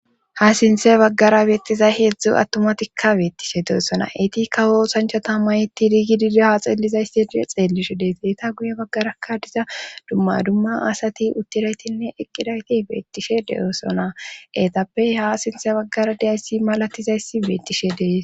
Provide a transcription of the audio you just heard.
ha sinthe baggara beettiza heedzdzu attumatikka beettishe deesona etikka hoosanchata mayti digididoha xeellizaysi e xeellisho deeseeta guye baggarakka diza dumma dumma asati uttiraytinne eqqidayti beettishe deyoosona eetappey ha sinthe baggara diyayssi malatizayssi beettishe dees